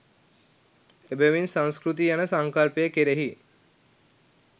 එබැවින් සංස්කෘතිය යන සංකල්පය කෙරෙහි